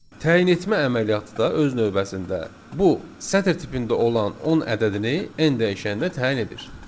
Təyin etmə əməliyyatı da öz növbəsində bu sətr tipində olan 10 ədədini n dəyişəninə təyin edir.